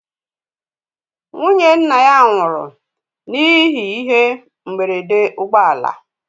Nwụnye nna ya nwụrụ n'ihe ihe mgberede ụgbọ ala